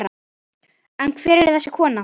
En hver er þessi kona?